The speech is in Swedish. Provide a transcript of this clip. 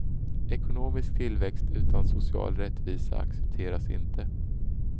Ekonomisk tillväxt utan social rättvisa accepteras inte.